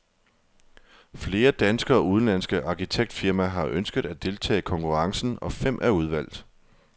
Flere danske og udenlandske arkitektfirmaer har ønsket at deltage i konkurrencen, og fem er udvalgt.